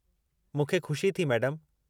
मूंखे खु़शी थी, मैडमु।